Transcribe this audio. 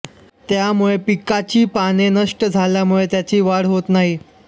त्यामुळे पिकाची पाने नष्ट झाल्यामुळे त्याची वाढ होत नाही